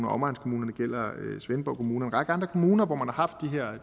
omegnskommunerne svendborg kommune række andre kommuner hvor man har haft de